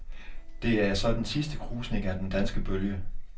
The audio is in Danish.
Det er så den sidste krusning af den danske bølge.